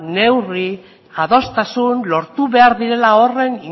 neurri adostasun lortu behar direla horren